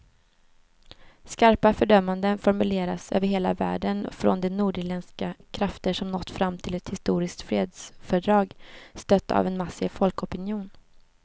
Skarpa fördömanden formuleras över hela världen och från de nordirländska krafter som nått fram till ett historiskt fredsfördrag, stött av en massiv folkopinion.